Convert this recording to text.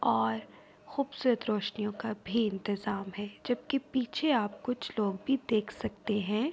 اور خوبصورت روشنیو کا بھی انتظام ہے۔ جبکی پیچھے آپ کچھ لوگ بھی دیکھ سکتے ہے۔